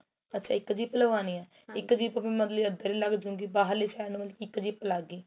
ਅੱਛਾ ਇੱਕ zip ਲਵਾਣੀ ਏ ਇੱਕ zip ਮਤਲਬ ਕੀ ਅੰਦਰ ਲੱਗ ਜੂ ਗੀ ਬਾਹਰਲੀ side ਇੱਕ zip ਲੱਗ ਗਈ